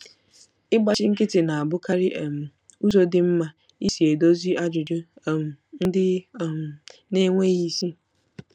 Ịgbachi nkịtị na-abụkarị um ụzọ dị mma isi edozi ajụjụ um ndị um na-enweghị isi.